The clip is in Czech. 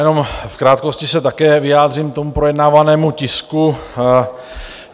Jenom v krátkosti se také vyjádřím k projednávanému tisku.